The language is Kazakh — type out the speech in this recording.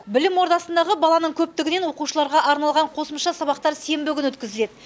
білім ордасындағы баланың көптігінен оқушыларға арналған қосымша сабақтар сенбі күні өткізіледі